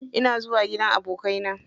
Ina zuwa gidan abokanai na.